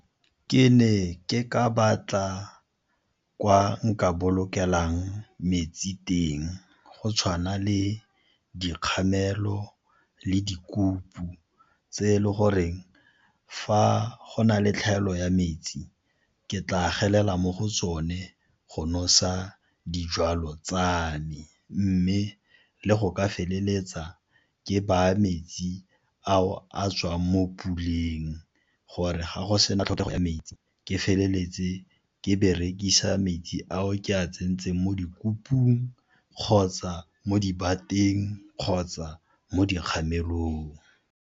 Ke ne ke ka batla kwa nka bolokelang metsi teng go tshwana le dikgamelo le di tse e le goreng fa go na le tlhaelo ya metsi ke tla gelela mo go tsone go nosetsa dijalo tsa me, mme le go ka feleletsa ke baya metsi ao a tswang mo puleng gore ga go sena tlhokego ya metsi ke feleletse ke berekisa metsi ao ke a tsentseng mo di kgotsa mo di bateng kgotsa mo dikgamelong.